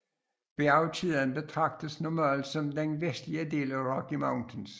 Bjergkæden betragtes normalt som den vestligste del af Rocky Mountains